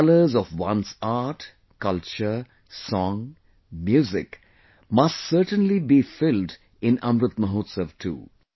The colours of one's art, culture, song, music must certainly be filled in Amrit Mahotsav too